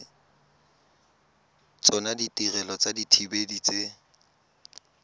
tsona ditirelo tsa dithibedi tse